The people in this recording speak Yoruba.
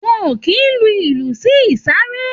Wọn ò kì í lu ìlù sí ìsàré.